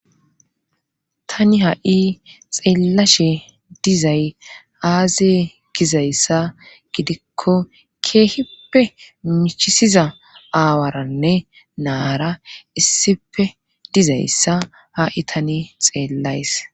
tani ha'i xeellashe dizay aaze gizayssa gidikko keehippe michisiza aawaranne naara issife dizayssa ha'i tani xeellays